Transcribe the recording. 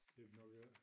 Det de nok ik